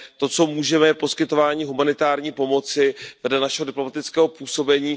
To, co můžeme, je poskytování humanitární pomoci vedle našeho diplomatického působení.